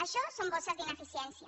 això són bosses d’ineficiència